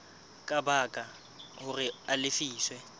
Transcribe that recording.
ka baka hore a lefiswe